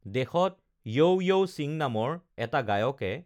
দেশত yo yo Singh নামৰ এটা গায়কে